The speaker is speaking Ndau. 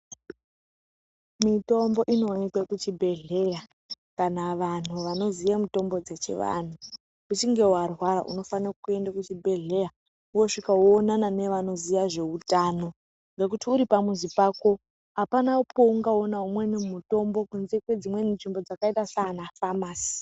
Mitombo inoonekwe kuchibhedhleya kana vanhu vanoziya mitombo dzechivanhu, uchinge warwara unofane kuende kuchibhedhleya wosvika woonana nevanoziya zveutano ngekuti uri pamuzi pako hapana paungaona umweni mutombo kunze kwedzimweni nzvimbo dzakaita sana famasi.